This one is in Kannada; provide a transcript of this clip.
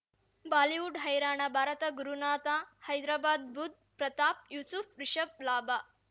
ಬಾಲಿವುಡ್ ಹೈರಾಣ ಭಾರತ ಗುರುನಾಥ ಹೈದರಾಬಾದ್ ಬುಧ್ ಪ್ರತಾಪ್ ಯೂಸುಫ್ ರಿಷಬ್ ಲಾಭ